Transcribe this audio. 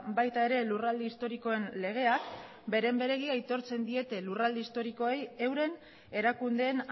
baita ere lurralde historikoen legeak beren beregi aitortzen diete lurralde historikoei euren erakundeen